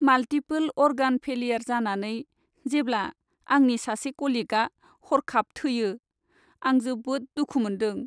Multiple organ failure जानानै जेब्ला आंनि सासे कलिगआ हरखाब थैयो, आं जोबोद दुखु मोन्दों।